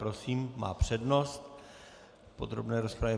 Prosím, má přednost v podrobné rozpravě.